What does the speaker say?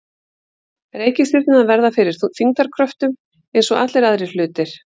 Reikistjörnurnar verða fyrir þyngdarkröftum eins og allir aðrir hlutir.